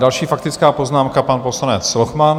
Další faktická poznámka, pan poslanec Lochman.